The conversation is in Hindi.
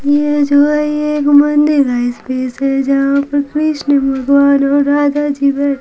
ये जो है ये एक मंदिर है जहा पर कृष्ण भगवान और राधा जी--